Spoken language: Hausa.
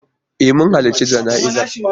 E, mun halarci jana'izar.